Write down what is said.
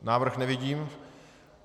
Návrh nevidím.